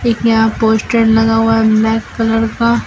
यहां पोस्टर लगा हुआ है ब्लैक कलर का।